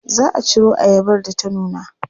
Za a ciro ayabar da ta nuna.